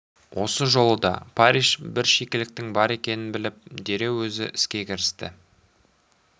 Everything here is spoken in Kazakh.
осы жолы да парриш бір шикіліктің бар екенін біліп дереу өзі іске кірісті